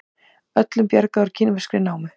Öllum bjargað úr kínverskri námu